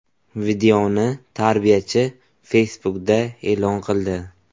Videoni tarbiyachi Facebook’da e’lon qildi.